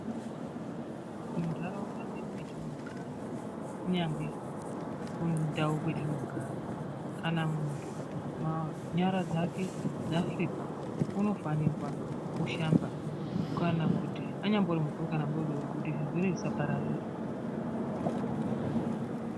Munharaunda mwedu mwetinogara kunyangwe kundau kwatinogara kana muntu nyara dzake dzasvipa unofanirwa kushamba kana kuti anyari mukuru kana mudodori kuti zvirwere zvisapararira .